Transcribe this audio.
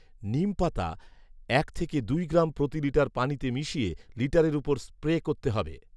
নিম পাতা এক দুই গ্রাম প্রতি লিটার পানিতে মিশিয়ে লিটারের উপর স্প্রে করতে হবে